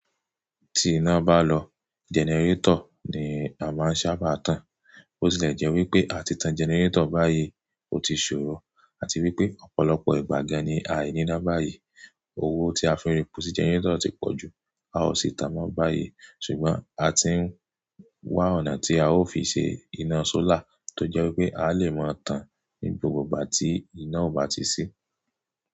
Tí iná bá lọ, gẹnẹrétọ̀ ni a máa ń sábà tan. Ó sì le jẹ́ wípé a ti tan gẹnẹrétọ̀ báyìí ó ti ṣòro. A ti rí pé ọ̀pọ̀lọpọ̀ ìgbà gan-an ni ai ní iná báyìí. Owó tí a fi ń repò sí gẹnẹrétọ̀ ti pọ̀ jù. A ò sì tàán mọ́ báyìí. Ṣùgbọ́n a ti ń wá ọ̀nà tí a ó fi ṣe iná sólà tó jẹ́ wípé a lè máa tan ní gbogbo ìgbà tí iná ò bá ti ṣí.